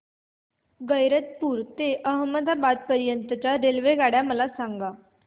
गैरतपुर ते अहमदाबाद पर्यंत च्या रेल्वेगाड्या मला सांगा